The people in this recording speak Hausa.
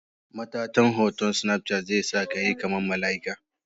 Matatan hoton snapchat zesakayi kaman malaika.